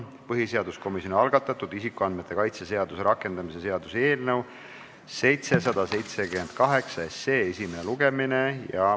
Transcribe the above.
Põhiseaduskomisjoni algatatud isikuandmete kaitse seaduse rakendamise seaduse eelnõu 778 esimene lugemine.